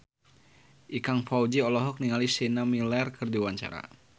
Ikang Fawzi olohok ningali Sienna Miller keur diwawancara